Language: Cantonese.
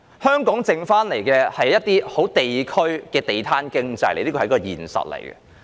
香港剩下的只有地區的地攤經濟，這是現實。